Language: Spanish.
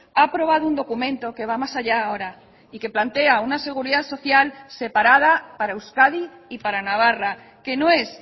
ha aprobado un documento que va más allá ahora y que plantea una seguridad social separada para euskadi y para navarra que no es